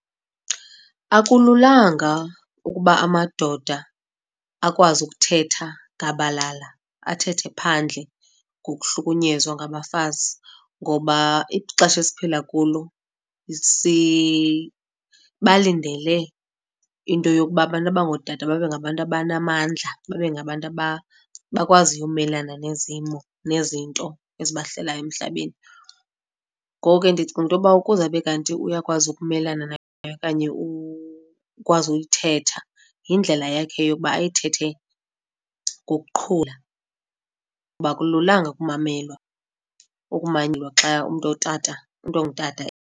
Akululanga ukuba amadoda akwazi ukuthetha gabalala, athethe phandle ngokuhlukunyezwa ngabafazi ngoba ixesha esiphila kulo sibalindele into yokuba abantu abangootata babe ngabantu abanamandla, babe ngabantu abakwaziyo ukumelana nezimo, nezinto ezibahlelayo emhlabeni. Ngoko ke, ndicinga into yokuba ukuze abe kanti uyakwazi ukumelana nayo okanye ukwazi uyithetha yindlela yakhe yokuba ayithethe ngokuqhula kuba akululanga ukumanyelwa xa umntu ongutata.